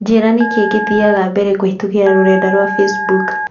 njĩĩra nikĩĩ kĩthiaga mberekũhītũkīra rũrenda rũa facebook